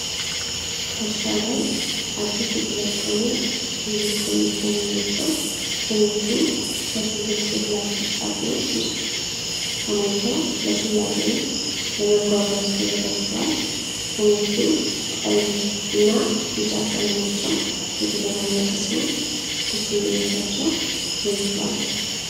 ከእርሻ ላይ አዲስ የተለቀሙ ብዙ ቀይ ፖም ናቸው ። ፖሞቹ በጥልቅ የፕላስቲክ ሣጥኖች ውስጥ ተሞልተው ለሽያጭ ወይም ለመጓጓዝ ተዘጋጅተዋል ። ፖሞቹ ቀይ እና ቢጫ ቀለማቸው የተደባለቀ ሲሆን፣ ትኩስነታቸው ጎልቶ አለ።